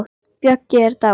Böggi er dáinn.